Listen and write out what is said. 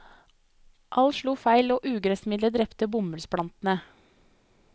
Alt slo feil og ugressmiddelet drepte bomullsplantene.